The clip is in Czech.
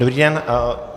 Dobrý den.